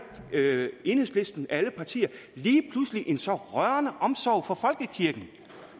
enhedslisten af alle partier lige pludselig en så rørende omsorg for folkekirken